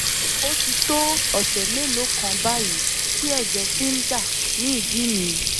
ó ti tó ọ̀sẹ̀ mélòó kan báyìí tí ẹ̀jẹ̀ ti ń dà ní ìdí mi